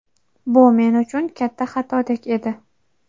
Bu men uchun katta xatodek edi.